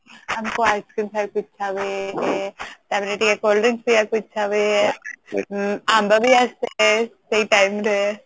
ଆମକୁ Ice Cream ଖାଇବାକୁ ଇଛା ହୁଏ ତ ପରେ ଟିକେ cool drinks ପିବାକୁ ଇଛା ହୁଏ ଆମ୍ବ ବି ଆସେ ସେଇ time ରେ